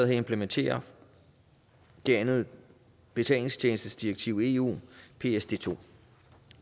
her implementerer det anden betalingstjenestedirektiv i eu psd2